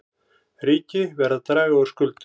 Ríki verða að draga úr skuldum